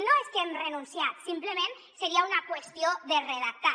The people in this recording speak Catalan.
no és que hi hem renunciat simplement seria una qüestió de redactat